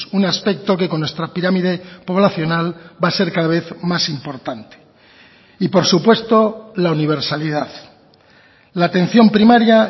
un aspecto que con nuestra pirámide poblacional va a ser cada vez más importante y por supuesto la universalidad la atención primaria